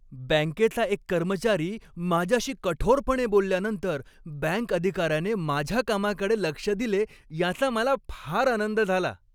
बँकेचा एक कर्मचारी माझ्याशी कठोरपणे बोलल्यानंतर बँक अधिकाऱ्याने माझ्या कामाकडे लक्ष दिले याचा मला फार आनंद झाला.